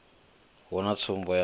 hu na tsumbo ya u